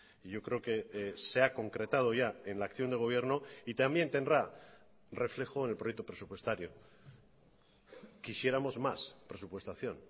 y yo creo que se ha concretado ya en la acción de gobierno y también tendrá reflejo en el proyecto presupuestario quisiéramos más presupuestación